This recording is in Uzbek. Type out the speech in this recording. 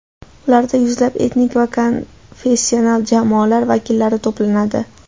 Ularda yuzlab etnik va konfessional jamoalar vakillari to‘planadi.